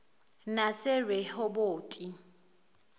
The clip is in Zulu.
naserehoboti